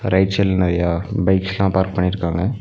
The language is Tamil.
ரைட் சைடுல நறையா பைக்ஸ்லா பார்க் பண்ணிருக்காங்க.